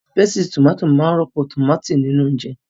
Pésìtì tòmátì máa rọ́pò tòmátì nínú oúnjẹ.